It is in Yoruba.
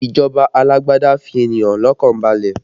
Ìjọba alágbádá fi ènìyàn lọ́kàn balẹ̀